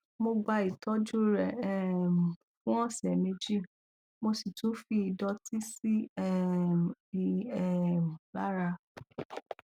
mo gba ìtọjú rẹ um fún ọsẹ méjì mo sì tún fi ìdọtí sí um i um lára